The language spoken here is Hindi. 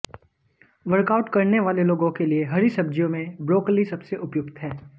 वर्कआउट करने वाले लोगों के लिए हरी सब्जियों में ब्रोकली सबसे उपयुक्त है